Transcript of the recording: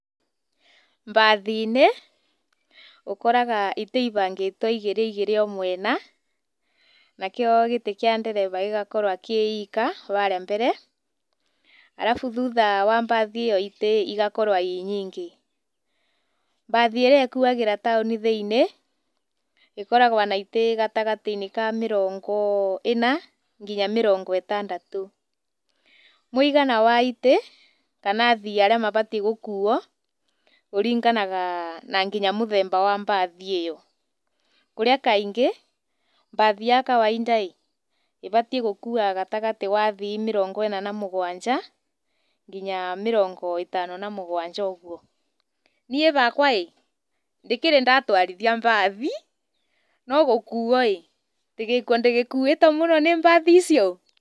Mbathi-inĩ ũkoraga itĩ ibangĩtwo igĩrĩ igĩrĩ o mwena na kĩo gĩtĩ kĩa ndereba gĩgakorwo kĩ gika harĩa mbere, arabu thutha wa mbathi ĩyo itĩ igakorwo irĩ nyingĩ. Mbathi ĩrĩa ĩkuagĩra taũni thĩinĩ ĩkoragwo na itĩ gatagatĩ-inĩ ka mĩrongo ĩna nginya mĩrongo ĩtandatũ. Mũigana wa itĩ kana athii arĩa mabatiĩ gũkuo ũringanaga nginya na mũthemba wa mbathi ĩyo kũrĩa kaingĩ mbathi ya kawaida ĩbatie gũkua gatagatĩ ka athii mĩrongo ĩna na mũgwanja nginya mĩrongo ĩtano na mũgwanja ũguo. Niĩ hakwa ĩ ndikĩrĩ ndatwarithia mbathi no gũkuo ndigĩkuĩtwo mũno nĩ mbathi icio.